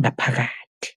ngaphakathi.